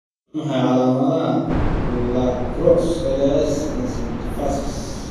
Waa maxay calaamadaha La Crosse (LAC) encephalitis?